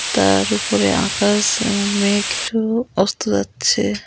তার উপরে আকাশ আ মেঘেরও অস্ত যাচ্ছে।